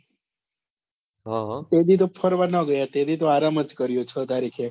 તે દી તો ફરવા ન ગયા તે દી તો આરામ જ કર્યો છ તારીખે